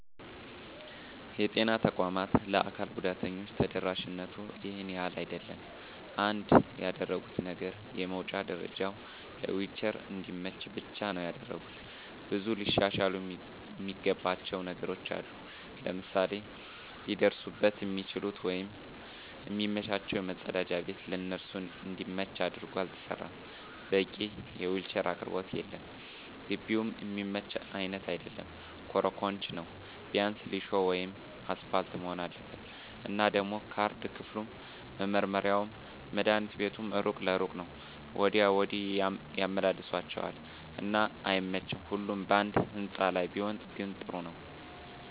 የጤና ተቋማት ለአካል ጉዳተኞች ተደራሽነቱ ይሄን ያህል አይደለም። አንድ ያደረጉት ነገር የመዉጫ ደረጀዉ ለዊልቸር እንዲመች ብቻ ነዉ ያደረጉት። ብዙ ሊሻሻሉ እሚገባቸዉ ነገሮች አሉ፤ ለምሳሌ ሊደርሱበት እሚችሉት ወይም እሚመቻቸዉ መፀዳጃ ቤት ለነሱ እንዲመች አድርጎ አልተሰራም፣ በቂ የዊልቸር አቅርቦት የለም፣ ግቢዉም እሚመች አይነት አይደለም ኮሮኮንች ነዉ ቢያንስ ሊሾ ወይም አሰፓልት መሆን አለበት። እና ደሞ ካርድ ክፍሉም፣ መመርመሪያዉም፣ መድሀኒት ቤቱም እሩቅ ለእሩቅ ነዉ ወዲያ ወዲህ ያመላልሷቸዋል እና አይመቺም ሁሉም ባንድ ህንፃ ላይ ቢሆን ግን ጥሩ ነበር።